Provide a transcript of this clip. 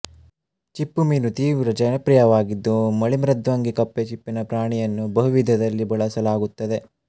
ಚಿಪ್ಪುಮೀನು ತೀವ್ರ ಜನಪ್ರಿಯವಾಗಿದ್ದು ಮಳಿಮೃದ್ವಂಗಿ ಕಪ್ಪೆ ಚಿಪ್ಪಿನ ಪ್ರಾಣಿಯನ್ನು ಬಹುವಿಧದಲ್ಲಿ ಬಳಸಲಾಗುತ್ತದೆ